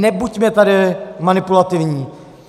Nebuďme tady manipulativní!